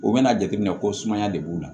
U bɛna jateminɛ ko sumaya de b'u la